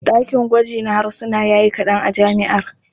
Ɗakin gwaji na harsuna ya yi kaɗan a jami'ar.